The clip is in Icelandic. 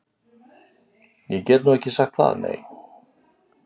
Ég get nú ekki sagt það, nei.